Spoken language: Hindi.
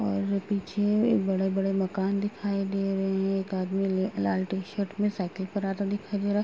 और पीछे बड़े-बड़े मकान दिखाई दे रहें हैं। एक आदमी ले लाल टी-शर्ट में साइकिल पर आता दिखाई दे रहा --